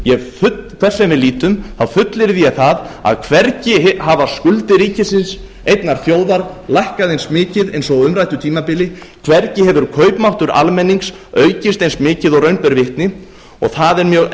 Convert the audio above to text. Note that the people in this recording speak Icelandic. hvert sem við lítum þá fullyrði ég það að hvergi hafa skuldir ríkisins einnar þjóðar lækkað eins mikið eins og á umræddu tímabili hvergi hefur kaupmáttur almennings aukist eins mikið og raun ber vitni það er mjög